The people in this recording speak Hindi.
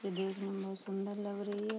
यह देखने में बहोत सुन्दर लग रही है।